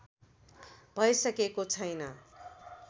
भइसकेको छैन